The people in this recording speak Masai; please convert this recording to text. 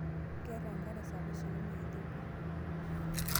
keer enkare sapuk sukuma e Ethopia.